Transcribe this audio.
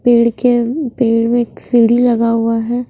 पेड़ के पेड़ में एक सीढ़ी लगा हुआ है।